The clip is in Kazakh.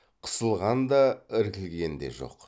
қысылған да іркілген де жоқ